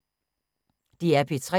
DR P3